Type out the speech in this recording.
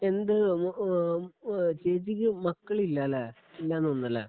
എന്ത് ഒന്ന് ഓ ഓ ചേച്ചിക്ക് മക്കളില്ലാലെ ഇല്ലെന്നുതോന്നല്ലേ?